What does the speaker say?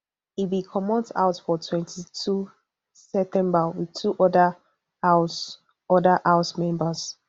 e bin comot house for twenty-two september wit two oda house oda house members